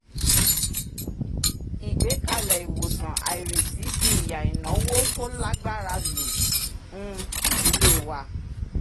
ìgbékalẹ̀ ìwòsàn àìrètí fi ìyà ìnáwó ìnà tó lágbára lu um ìdílé e wa